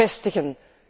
vestigen.